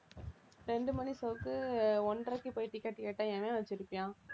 இரண்டு மணி show க்கு ஒன்றரைக்கு போய் ticket கேட்டா எவன் வெச்சிருப்பான்